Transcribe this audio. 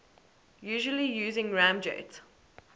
usually using ramjet